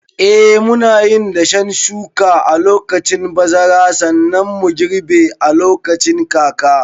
Eh, munayin dashen shuka a lokacin bazara, sannan mu girbe lokacin kaka.